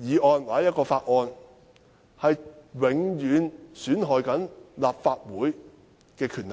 議案或法案絕不一樣，會永久損害立法會的權力。